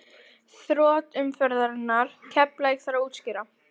Þrot umferðarinnar: Keflavík Þarf að útskýra?